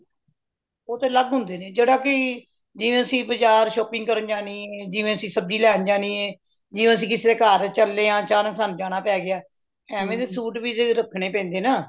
ਉਹ ਤੇ ਅਲਗ ਹੁੰਦੇ ਨੇ ਜਿਹੜਾ ਕਿ ਜਿਵੇ ਅੱਸੀ ਬਜ਼ਾਰ shopping ਕਰਨ ਜਾਣੀ ਜਿਵੇ ਅੱਸੀ ਸਬਜ਼ੀ ਲੈਣ ਜਾਣੀ ਏ ਜਿਵੇ ਅੱਸੀ ਕਿਸੇ ਦੇ ਘਰ ਚਲੇ ਆ ਅਚਾਨਕ ਸਾਨੂ ਜਾਣਾ ਪੈ ਗਯਾ ਐਵੇ ਦੇ ਸੂਟ ਵੀ ਤੇ ਰਖਣੇ ਪੈਂਦੇ ਨੇ ਨਾ